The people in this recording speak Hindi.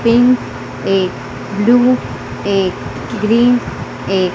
पिंक एक ब्लू एक ग्रीन एक--